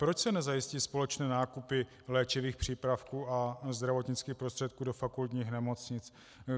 Proč se nezajistí společné nákupy léčivých přípravků a zdravotnických prostředků do fakultních nemocnic?